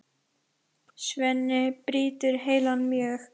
Svenni brýtur heilann mjög.